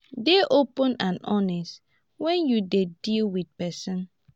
dey open and honest when you dey deal with person